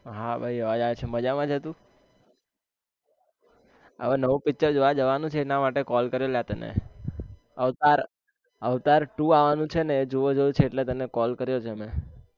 હા ભાઈ અવાજ આવે છે મજામાં છે તું હવે નવું picture જોવા જવાનું છે એના માટે call કરેલા તને avatar avtar two આવાનું છે ને એ જોવા જવું છે એટલે તને call કર્યો છે મેં